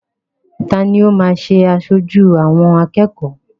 Ta ni ó máa ṣe aṣojú àwọn akẹ́kọ̀ọ́?